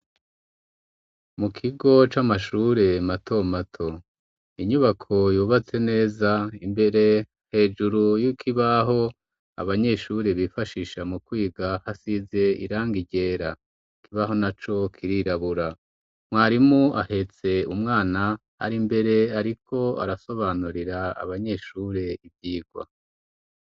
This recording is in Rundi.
Mu kigo c'amashure mato mato. Inyubako yubatse neza imbere hejuru y'ikibaho abanyeshure bifashisha mu kwiga hasize irangi ryera, ikibaho naco kirirabura. Mwarimu ahetse umwana ari mbere ariko arasobanurira abanyeshure ivyigwa.